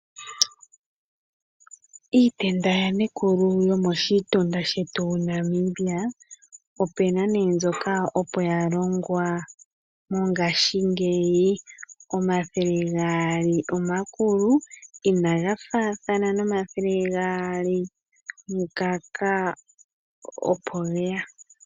Iitenda yaNekulu yomoshitunda shetu Namibia opu na mbyoka opo ya longwa, mongaashingeyi omathele gaali omakulu ina ga faathana naangoka opo ge ya.